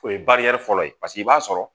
O ye fɔlɔ ye paseke i b'a sɔrɔ